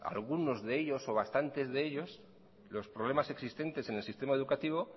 algunos de ellos o bastante de ellos los problemas existentes en el sistema educativo